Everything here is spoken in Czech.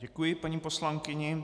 Děkuji paní poslankyni.